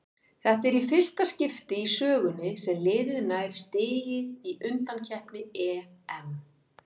Þetta er fyrsta í skipti í sögunni sem liðið nær stigi í undankeppni EM.